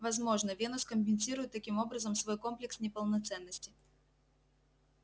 возможно венус компенсирует таким образом свой комплекс неполноценности